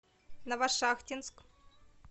новошахтинск